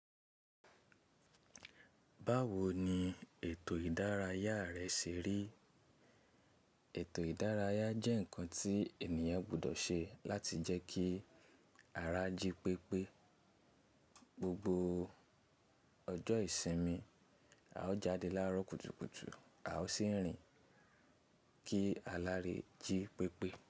Báwo ni ètò ìdárayá rẹ ṣe rí? Ètò ìdárayá jẹ́ ǹkan tí ènìyàn gbọdọ̀ ṣe láti jẹ́ kí ara jí pépé. Gbogbo ọjọ́ ìsinmi, a ó jáde láàárọ̀ kùtùkùtù, a ó sì ń rìn kí a lè jí pépé.